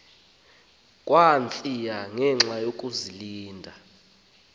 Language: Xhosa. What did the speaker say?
kamsinya ngenxa yokazinikela